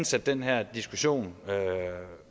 sendt den her diskussion